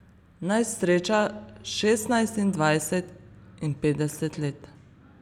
Naj sreča šestnajst in dvajset in petdeset let.